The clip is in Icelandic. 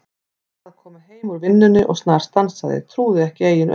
Var að koma heim úr vinnunni og snarstansaði, trúði ekki eigin augum.